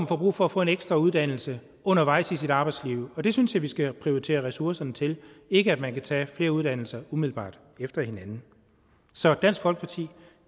får brug for at få en ekstra uddannelse undervejs i sit arbejdsliv det synes jeg vi skal prioritere ressourcerne til ikke at man kan tage flere uddannelser umiddelbart efter hinanden så dansk folkeparti